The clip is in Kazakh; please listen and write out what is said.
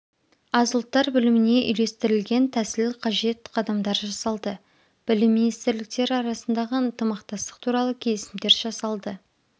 аз ұлттар біліміне үйлестірілген тәсіл қажет қадамдар жасалды білім министрліктері арасындағы ынтымақтастық туралы келісімдер жасалды